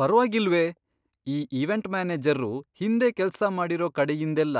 ಪರ್ವಾಗಿಲ್ವೇ! ಈ ಇವೆಂಟ್ ಮ್ಯಾನೇಜರ್ರು ಹಿಂದೆ ಕೆಲ್ಸ ಮಾಡಿರೋ ಕಡೆಯಿಂದೆಲ್ಲ